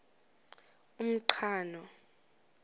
umqhano